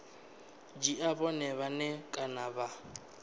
dzhia vhone vhane kana vha